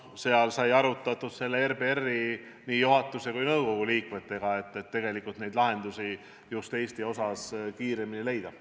Seal sai arutatud nii RBR-i juhatuse kui ka nõukogu liikmetega, et just Eesti puhul need lahendused kiiremini leida.